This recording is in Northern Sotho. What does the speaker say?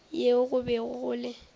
yeo go bego go le